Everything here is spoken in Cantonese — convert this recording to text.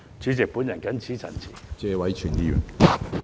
主席，我謹此陳辭。